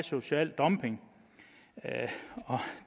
social dumping og